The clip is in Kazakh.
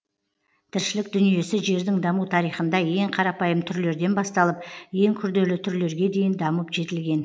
тіршілік дүниесі жердің даму тарихында ең карапайым түрлерден басталып ең күрделі түрлерге дейін дамып жетілген